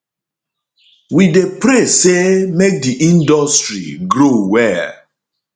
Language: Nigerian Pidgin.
we dey pray say make di industry grow well